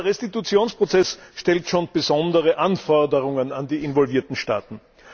Dieser Restitutionsprozess stellt schon besondere Anforderungen an die involvierten Staaten.